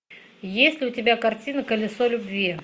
есть ли у тебя картина колесо любви